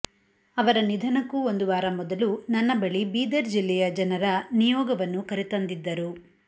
ಅವರ ನಿಧನಕ್ಕೂ ಒಂದು ವಾರ ಮೊದಲು ನನ್ನ ಬಳಿ ಬೀದರ್ ಜಿಲ್ಲೆಯ ಜನರ ನಿಯೋಗವನ್ನು ಕರೆತಂದಿದ್ದರು